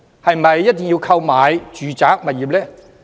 是否一定要購買住宅物業？